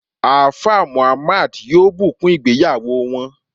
Alfa Muhammad yoo bukun ìgbéyàwò wọn